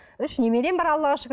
үш немерем бар аллаға шүкір